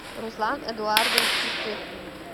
руслан эдуардович крутых